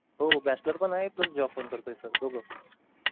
हो bachelor पण आहे plus job पण करतोय दोघ.